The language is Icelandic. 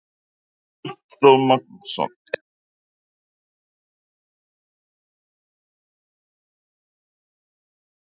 Ástþór Magnússon: Er einhver annar við sem getur tekið við bíl fyrir hann?